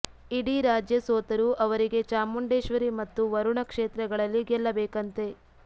ಇಡೀ ರಾಜ್ಯ ಸೋತರೂ ಅವರಿಗೆ ಚಾಮುಂಡೇಶ್ವರಿ ಮತ್ತು ವರುಣಾ ಕ್ಷೇತ್ರಗಳಲ್ಲಿ ಗೆಲ್ಲಬೇಕಂತೆ